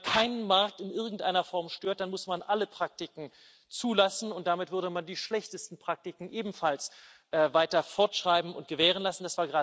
Denn wenn man keinen Markt in irgendeiner Form stört, dann muss man alle Praktiken zulassen, und damit würde man die schlechtesten Praktiken ebenfalls weiter fortschreiben und gewährenlassen.